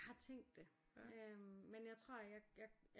Jeg har tænkt det øh men jeg tror jeg jeg